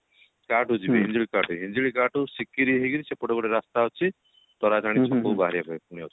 କଟକୁ ଯିବେ ହିଞ୍ଜିଳୀକଟ ହିଞ୍ଜିଳୀକଟ ରୁ ସିକିରି ହେଇକିରି ସେପଟେ ଗୋଟେ ରାସ୍ତା ଅଛି ତାରାତାରିଣୀ ଛକ କୁ ବାହାରିବା ପାଇଁ